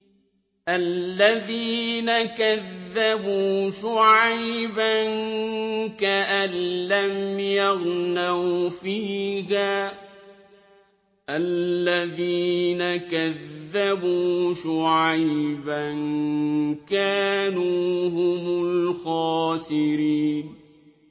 الَّذِينَ كَذَّبُوا شُعَيْبًا كَأَن لَّمْ يَغْنَوْا فِيهَا ۚ الَّذِينَ كَذَّبُوا شُعَيْبًا كَانُوا هُمُ الْخَاسِرِينَ